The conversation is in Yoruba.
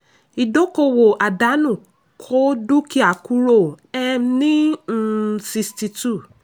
ìdókòwò àdánù kó dúkìá kúrò um ní um 62.